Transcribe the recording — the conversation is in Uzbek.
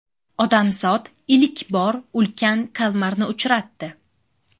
Odamzod ilk bor ulkan kalmarni uchratdi .